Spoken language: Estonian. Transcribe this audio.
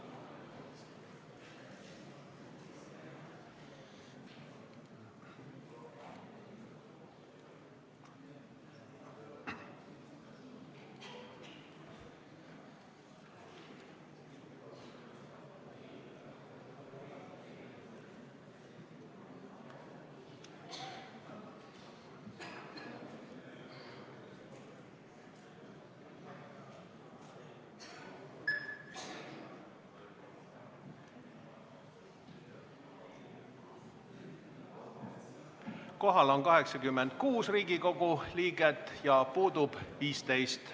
Kohaloleku kontroll Kohal on 86 Riigikogu liiget, puudub 15.